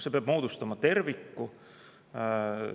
See peab moodustama terviku.